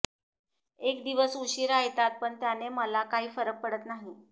एक दिवस उशीरा येतात पण त्याने मला काही फरक पडत नाही